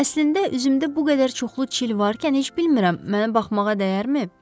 Əslində, üzümdə bu qədər çoxlu çil varkən heç bilmirəm mənə baxmağa dəyərmi?